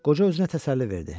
Qoca özünə təsəlli verdi.